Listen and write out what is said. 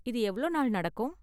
இது எவ்ளோ நாள் நடக்கும்?